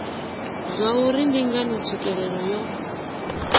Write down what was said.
zwauri ndi ngani tswikelelo yo